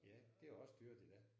Ja det er også dyrt i dag